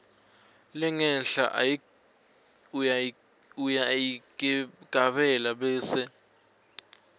lengenhla uyayigabela bese